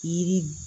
Yiri